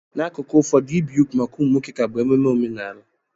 N'akụkụ ụfọdụ, ibi úgwù maka ụmụ nwoke ka bụ ememe omenala.